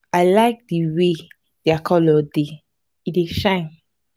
i like the way their colour dey. e dey shine.